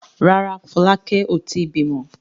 Rárá, Fọlákẹ́ ò tí ì bímọ.